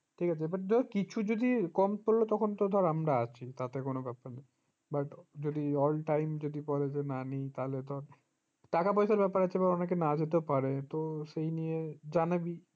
ঠিকাছে but ধর কিছু যদি কম পড়লো তখন তো ধরে আমরা আছি তাতে কোনো ব্যাপার নয় but যদি all time যদি বলে যে না নেই তাহলে তো টাকা পয়সার ব্যাপার আছে তো অনেকে না যেতে পারে তো সেই নিয়ে জানাবি